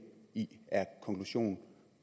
i er konklusionen